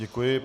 Děkuji.